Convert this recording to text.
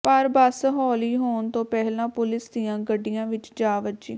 ਪਰ ਬੱਸ ਹੌਲੀ ਹੋਣ ਤੋਂ ਪਹਿਲਾਂ ਪੁਲਿਸ ਦੀਆਂ ਗੱਡੀਆਂ ਵਿੱਚ ਜਾ ਵੱਜੀ